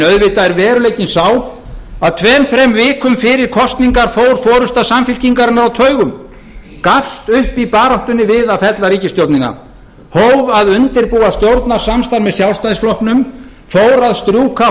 auðvitað er veruleikinn sá að tveim þrem vikum fyrir kosningar fór forusta samfylkingarinnar á taugum gafst upp í baráttunni við að fella ríkisstjórnina hóf að undirbúa stjórnarsamstarf með sjálfstæðisflokknum fór að strjúka